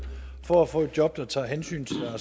for at få et job der tager hensyn